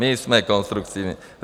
My jsme konstruktivní.